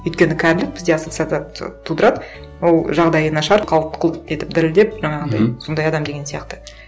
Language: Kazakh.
өйткені кәрілік бізде ассоциация тудырады ол жағдайы нашар қалт құлт етіп дірілдеп жаңағындай сондай адам деген сияқты